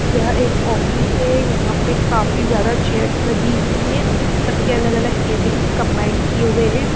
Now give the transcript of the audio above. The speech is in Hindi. यह एक है यहां पे काफी ज्यादा लगी हुई हैं सबके अलग-अलग कैबिन कंबाइंड किए हुए हैं।